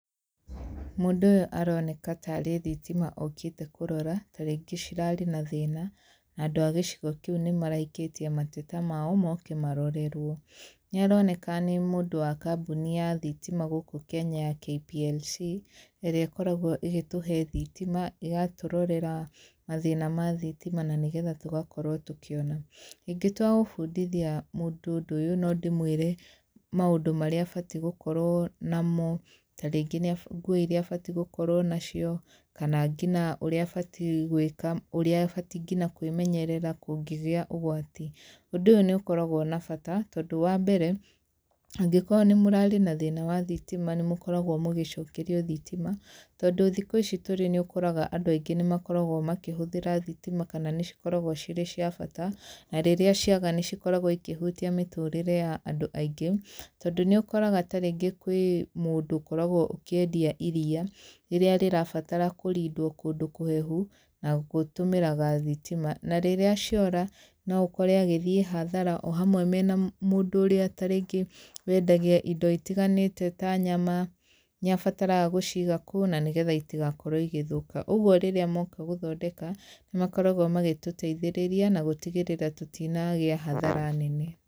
Mũndũ ũyũ aroneka tarĩ thitima okĩte kũrora, ta rĩngĩ cirarĩ na thĩna, na andũ a gĩcigo kĩu nĩ maraikĩtie mateta mao moke marorerwo. Nĩ aroneka nĩ mũndũ wa kambuni ya thithima gũkũ Kenya ya KPLC, ĩrĩa ĩkoragwo ĩgĩtũhe thithima, ĩgatũrorera mathĩna ma thitima na nĩgetha tũgakorwo tũkĩona. Ingĩtua gũbundithia mũndũ ũndũ ũyũ, no ndĩmwĩre maũndũ marĩa abatie gũkorwo namo, ta rĩngĩ nguo iria abatie gũkorwo nacio, kana nginya ũrĩa abatie gwĩka, ũrĩa abatie nginya kwĩmenyerera kũngĩgia ũgwati, ũndũ ũyũ nĩ ũkoragwo na bata tondũ wambere, angĩkorwo nĩ mũrarĩ na thĩna wa thitima, nĩ mũkoragwo mũgĩcokerio thitima, tondũ thikũ ici tũrĩ nĩ ũkoraga andũ aingĩ nĩ makoragwo makĩhũthĩra thitima kana nĩ cikoragwo cirĩ cia bata, na rĩrĩa ciaga nĩ cikoragwo ikĩhutia mĩtũrĩre ya andũ aingĩ, tondũ nĩũkoraga ta rĩngĩ kwĩ mũndũ ũkoragwo ũkĩendia iriia, rĩrĩa rĩrabatara kũrindwo kũndũ kũhehu na gũtũmiraga thitima, na rĩrĩa ciora no ũkore agĩthiĩ hathara o hamwe na mũndũ ũrĩa ta rĩngĩ wendagia indo itiganĩte ta nyama, nĩ abatarga gũciiga kũu na nĩgetha itigakorwo igĩthũka, ũguo rĩrĩa moka gũthondeka, nĩ makoragwo magĩtũteithĩrĩria na gũtigĩrĩra tũtinagĩa hathara nene.